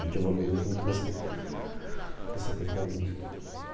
A gente evoluiu junto nessa nessa coisa da música.